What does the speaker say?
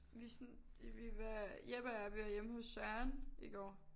Vi sådan vi var Jeppe og jeg vi var hjemme hos Søren i går